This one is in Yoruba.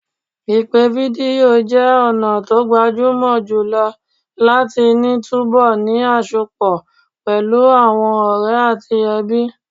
Ìpè fídíò jẹ́ ọ̀nà tó gbajúmọ̀ jùlọ láti ní túbọ̀ ní àsọpọ̀ pẹ̀lú àwọn ọ̀rẹ́ àti ẹbí.